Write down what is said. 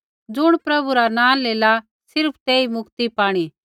ज़ुण प्रभु रा नाँ लेला सिर्फ़ तेई मुक्ति पाणी